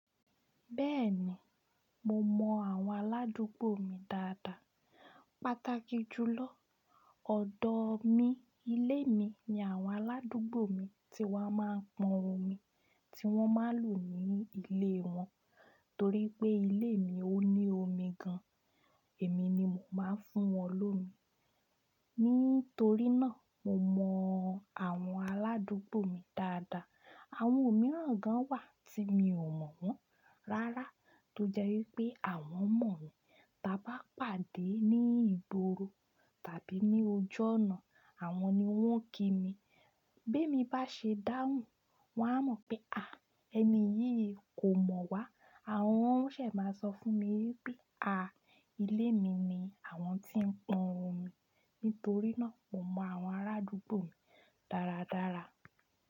Bẹ́ẹ̀ni, mo mọ àwọn aládùúgbò mi dáadáa. Pátákì jùlọ, ọ̀dọ̀ mi, ilé mi ni àwọn aládùúgbò mi ti wọ́n máa ń pọn omi tí wọ́n máa ń lò ní ilé wọn. Torí pé ilé mi ò ní omi gan, èmi ni màá fún wọn lómi. Nítorí náà, mo mọ àwọn aládùúgbò mi dáadáa. Àwọn mìíràn gan wà tí mi ò mọ̀ wọ́n rárá tó jẹ́ wípé àwọn mọ̀ mi. Tí a bá pàdé ní ìgboro tàbí ní ojú ọ̀nà, àwọn ni wọ́n kí mi. Bí èmi bá ṣe dáhùn, wón á mọ̀ pé, ẹni yìí kò mọ̀ wá. Àwọn ń ṣẹ̀ máa sọ fún mi wípé, ilé mi ni àwọn tí ń pọn omi. Nítorí náà, mo mọ àwọn arádúgbò mi dáradára.